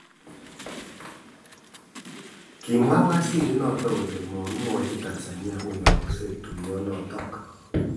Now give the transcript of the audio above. Kamwa waziri notok kole mwakimwachi Tanzania koaksei tuyo notok